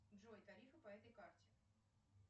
джой тарифы по этой карте